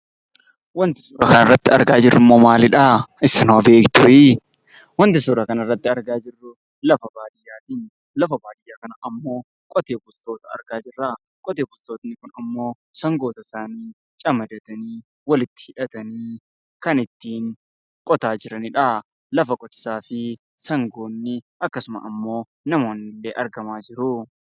Wanti suuraa irratti argaa jirrummoo maalidhaa? Isin hoo beektuuyii? Wanti suuraa kana irratti arginaa jirru lafa baay'ee lafa baadiyyaati. Qotee bultoonni kunimmoo sangoota isaanii camadatanii walitti hidhatanii kan ittiin qotaa jiraniidha. Lafa qotiisaa fi sangoonni akkasuma ammoo namoonni illee argamaa jiru.